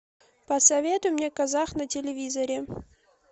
посоветуй мне казах на телевизоре